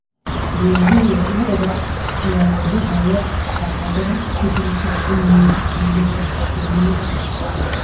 Beeralayda lo'da ayaa wajahaya caqabadaha isbeddelka cimilada.